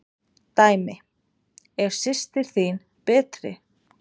Dæmi: Er systir þín betri?